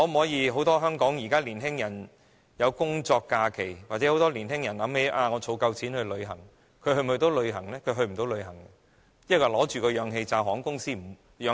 現時香港很多年輕人會去工作假期，或想到已儲足夠的金錢，可以去旅行，但這些病患者能否去旅行呢？